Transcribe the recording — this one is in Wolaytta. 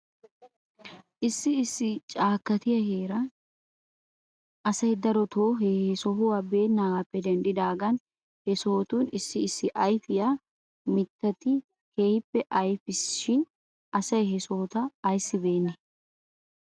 Issi issi caakkatiyaa heerata asay daroto he sohota beennaagaappe denddidaagan he sotun issi issi ayfiyaa ayfiyaa mittati keehippe ayfiisina shin asay he sohota ayssi beenee?